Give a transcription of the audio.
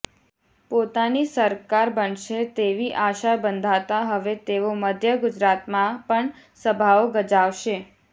પોતાની સરકાર બનશે તેવી આશા બંધાતા હવે તેઓ મધ્ય ગુજરાતમાં પણ સભાઓ ગજાવશે